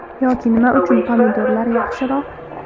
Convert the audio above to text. Yoki nima uchun pomidorlar yaxshiroq.